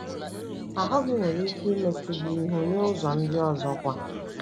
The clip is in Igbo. Ahụ́ gị nwere ike imechu gị ihu n’ụzọ ndị ọzọ kwa.